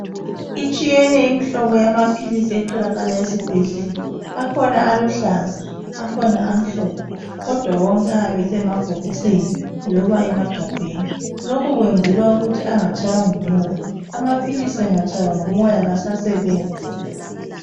Itshiyene imhlobo yamaphilisi etholakala esibhedlela, akhona aluhlaza akhona amhlophe kodwa wonke ayabe esemabhokisini loba emagabheni , lokhu kwenzelwa ukuthi angatshaywa ngumoya , amaphilisi angatshaywa ngumoya kasasebenzi